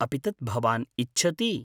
अपि तत् भवान् इच्छति?